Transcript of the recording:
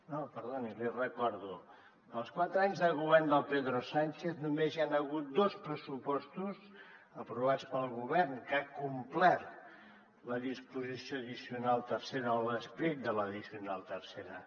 no perdoni l’hi recordo en els quatre anys de govern de pedro sánchez només hi han hagut dos pressupostos aprovats pel govern que ha complert la disposició addicional tercera o l’esperit de l’addicional tercera